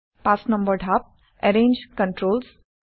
৫ number ধাপ - Arrange controls